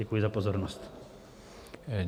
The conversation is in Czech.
Děkuji za pozornost.